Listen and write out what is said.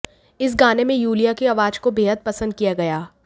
इस गाने में यूलिया की आवाज को बेहद पसंद किया गया